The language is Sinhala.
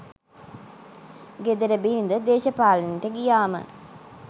ගෙදර බිරිඳ දේශපාලනයට ගියාම